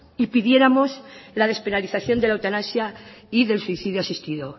y pidiéramos la despenalización de la eutanasia y del suicidio asistido